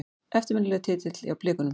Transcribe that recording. Eftirminnilegur titill hjá Blikunum.